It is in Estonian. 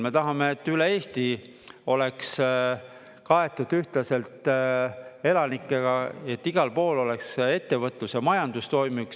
Me tahame, et üle Eesti oleks kaetud ühtlaselt elanikega, et igal pool oleks ettevõtlus ja majandus toimiks.